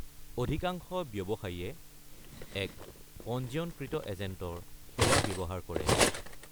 অধিকাংশ ব্যৱসায়ীয়ে এক পঞ্জীয়নকৃত এজেন্টৰ সেৱা ব্যৱহাৰ কৰে।